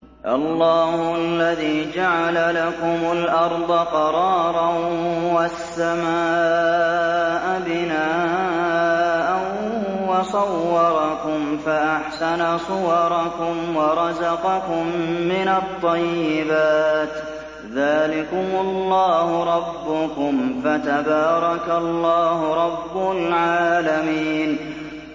اللَّهُ الَّذِي جَعَلَ لَكُمُ الْأَرْضَ قَرَارًا وَالسَّمَاءَ بِنَاءً وَصَوَّرَكُمْ فَأَحْسَنَ صُوَرَكُمْ وَرَزَقَكُم مِّنَ الطَّيِّبَاتِ ۚ ذَٰلِكُمُ اللَّهُ رَبُّكُمْ ۖ فَتَبَارَكَ اللَّهُ رَبُّ الْعَالَمِينَ